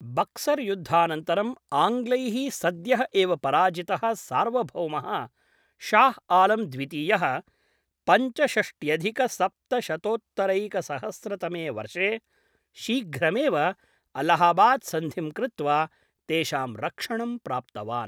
बक्सर् युद्धानन्तरम्, आङ्ग्लैः सद्यः एव पराजितः सार्वभौमः शाह् आलम् द्वितीयः पञ्चषष्ट्यधिकसप्तशतोत्तरैकसहस्रतमे वर्षे शीघ्रमेव अल्लाहाबाद् सन्धिं कृत्वा तेषां रक्षणं प्राप्तवान्।